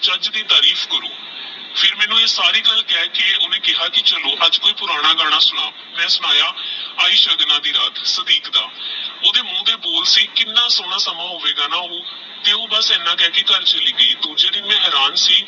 ਫਿਰ ਮੈਨੂ ਆਹ ਸਾਰੀ ਗਲ ਕਹਕੇ ਕ਼ਯਾ ਕੀ ਚਲੋ ਅਜੇ ਕੋਈ ਪੁਰਾਣਾ ਗਾਨਾ ਸੁਣਾਓ ਮੈ ਸੁਨਾਯਾ ਆਯੀ ਸਗਨਾ ਦੀ ਰਾਤ ਸਤਿਕ ਦਾ ਓਹਦੇ ਮੁਹ ਦੇ ਬੋਲ ਸੀ ਕੀਨਾ ਸੋਹਨਾ ਸਮਾਂ ਹੋਵੇਗਾ ਨਾ ਓਹ ਤੇਹ ਓਹ ਬਸ ਇਹਨਾ ਕਹਕੇ ਘਰ ਚਲੀ ਗ੍ਯੀ ਦੂਜੇ ਦਿਨ ਮੈ ਹੇਹ੍ਰਾਂ ਸੀ